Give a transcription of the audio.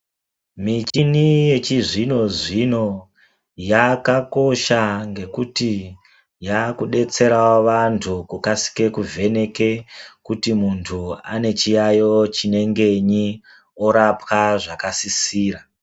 Michini yechizvino zvino yakakosha ngekuti yakudetserawo vantu kukasike kuvheneke kuti muntu ane chiyayo chinengenyi orapwa zvakasisira.